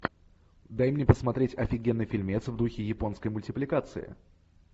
дай мне посмотреть офигенный фильмец в духе японской мультипликации